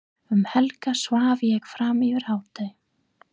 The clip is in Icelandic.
Um helgar svaf ég fram yfir hádegi.